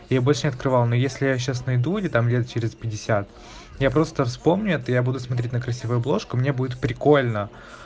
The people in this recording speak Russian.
я её больше не открывал но если я её сейчас найду или там лет через пятьдесят я просто вспомню это и я буду смотреть на красивую обложку мне будет прикольно